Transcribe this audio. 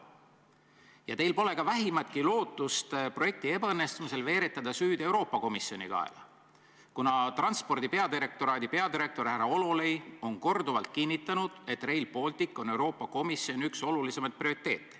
Ja teil pole ka vähimatki lootust projekti ebaõnnestumise korral veeretada süü Euroopa Komisjoni kaela, kuna transpordi peadirektoraadi peadirektor härra Hololei on korduvalt kinnitanud, et Rail Baltic on Euroopa Komisjoni olulisimaid prioriteete.